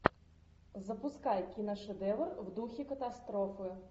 запускай киношедевр в духе катастрофы